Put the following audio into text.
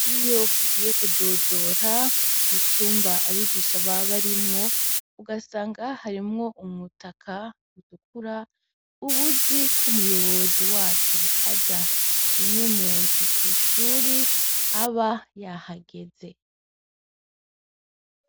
Iyo ugiye kudodora mucumba abigisha baba barimwo ugasanga harimwo umutaka utukura ubuzi k' umuyobozi wacu aza rimwe mu ndwi kwishuri aba yahageze.